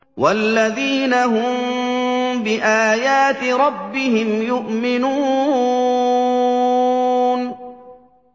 وَالَّذِينَ هُم بِآيَاتِ رَبِّهِمْ يُؤْمِنُونَ